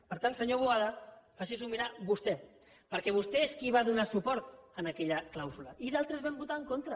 per tant senyor boada faci s’ho mirar vostè perquè vostè és qui va donar suport a aquella clàusula i d’altres hi vam votar en contra